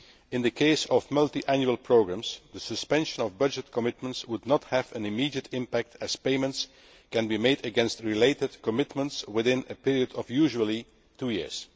In the case of multiannual programmes, the suspension of budget commitments would not have an immediate impact as payments can be made against related commitments within a period of usually two years.